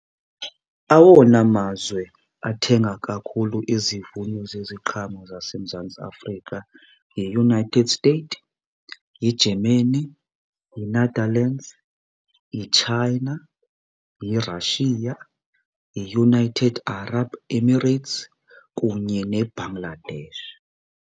Awona mazwe athenga kakhulu izivuno zeziqhamo zaseMzantsi Afrika yiUnited States, yiGermany, yiNetherlands, yiChina, yiRussia, yiUnited Arab Emirates kunye neBangladesh.